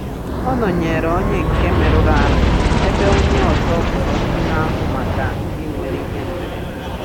Ọ nọnyeere onye nke merụrụ ahụ ebe onye ọzọ kpọrọ ndị na-ahụ maka ndị nwere ihe mberede.